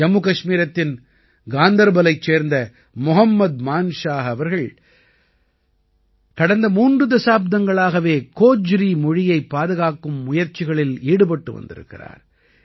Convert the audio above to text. ஜம்மு கஷ்மீரத்தின் காந்தர்பலைச் சேர்ந்த மொஹம்மத் மான்ஷாஹ் அவர்கள் கடந்த மூன்று தசாப்தங்களாகவே கோஜ்ரி மொழியைப் பாதுகாக்கும் முயற்சிகளில் ஈடுபட்டு வந்திருக்கிறார்